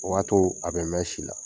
O b'a to a bɛ mɛɛn si la